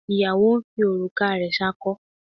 Ìyàwó ń fi òrùka rẹ̀ ṣakọ.